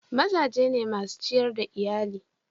Maza ne masun ciyar da Iyalli.